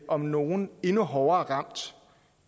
om nogen hårdt ramt